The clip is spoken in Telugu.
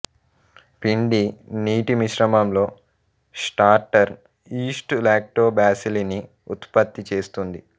పిండి నీటి మిశ్రమంలో స్టార్టర్ ఈస్ట్ లాక్టోబాసిల్లిని ఉత్పత్తి చేస్తుంది